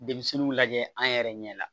Denmisɛnninw lajɛ an yɛrɛ ɲɛ la